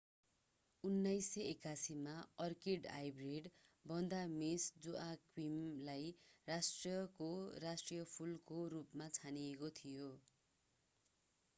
1981 मा orchid hybrid Vanda Miss जोआक्विमलाई राष्ट्रको राष्ट्रिय फूलको रूपमा छानिएको थियो